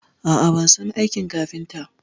A a, ban son aikin kafinta.